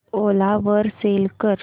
ओला वर सेल कर